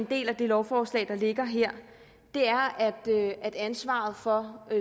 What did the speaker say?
del af det lovforslag der ligger her er at ansvaret for